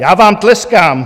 Já vám tleskám.